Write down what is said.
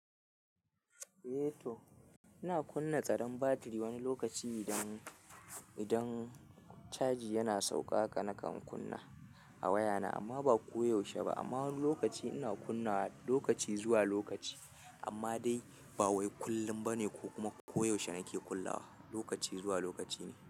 Eh to ina kunna tsaron batiri wani lokaci idan, idan caji yana sauƙa haka nakan kunna a wayana amma ba ko yaushe ba. Amma wani lokaci ina kunna lokaci zuwa lokaci amma dai ba wai kullum bane ko kuma koyaushe nake kullawa, lokaci zuwa lokaci ne.